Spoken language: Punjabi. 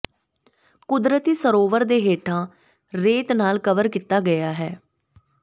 ਕੁਦਰਤੀ ਸਰੋਵਰ ਦੇ ਹੇਠਾਂ ਰੇਤ ਨਾਲ ਕਵਰ ਕੀਤਾ ਗਿਆ ਹੈ